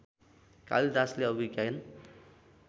कालिदासले अभिज्ञान